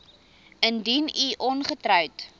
indien u ongetroud